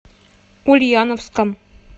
ульяновском